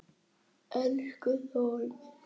Elsku Þórður minn.